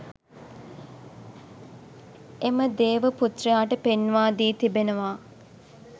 එම දේවපුත්‍රයාට පෙන්වාදී තිබෙනවා.